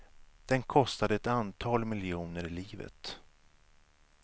Den kostade ett antal miljoner livet.